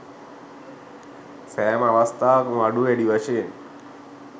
සෑම අවස්ථාවකම අඩු වැඩි වශයෙන්